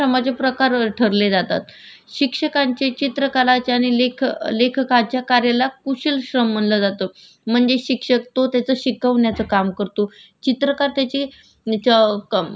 म्हणजे शिक्षक तो त्याच शिकवण्याचं काम करतो. चित्रकार त्याचे विचारांचं मांडणी एका चित्रद्वारे केली जाते याला कुशल श्रम मानलं जाऊ शकतं